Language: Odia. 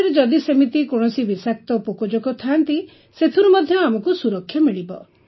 ବିଲରେ ଯଦି ସେମିତି କୌଣସି ବିଷାକ୍ତ ପୋକଜୋକ ଥାଆନ୍ତି ସେଥିରୁ ମଧ୍ୟ ଆମକୁ ସୁରକ୍ଷା ମିଳିବ